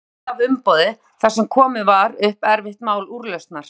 Ekki veitti af umboði þar sem komið var upp erfitt mál úrlausnar.